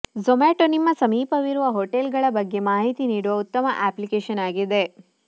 ಜೂಮಾಟೋ ನಿಮ್ಮ ಸಮೀಪವಿರುವ ಹೋಟೆಲ್ಗಳ ಬಗ್ಗೆ ಮಾಹಿತಿ ನೀಡುವ ಉತ್ತಮ ಅಪ್ಲಿಕೇಶನ್ ಆಗಿದೆ